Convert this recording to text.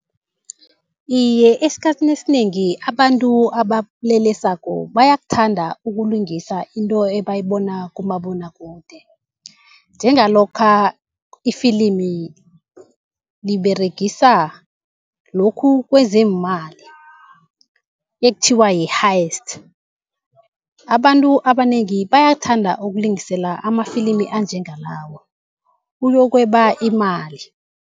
Iye, esikhathini esinengi abantu abalelesako bayakuthanda ukulingisa into ebayibona kumabonwakude. Njengalokha ifilimu liberegisa lokhu kwezeemali ekuthiwa yi-hiest. Abantu abanengi bayakuthanda ukulingiselela amafilimi anjengelawo, ukuyokweba imali.